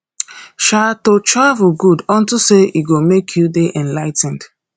um to travel good unto say e go make you dey enligh ten ed